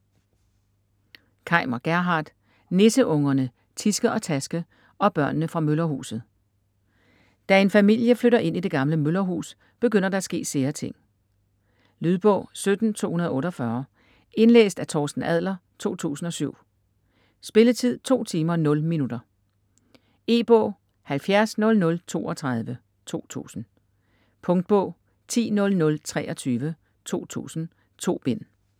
Kaimer, Gerhard: Nisseungerne Tiske og Taske og børnene fra møllerhuset Da en familie flytter ind i det gamle møllerhus, begynder der at ske sære ting. Lydbog 17248 Indlæst af Torsten Adler, 2007. Spilletid: 2 timer, 0 minutter. E-bog 700032 2000. Punktbog 100023 2000. 2 bind.